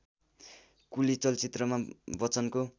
कुली चलचित्रमा बच्चनको